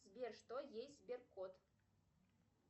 сбер что есть сберкот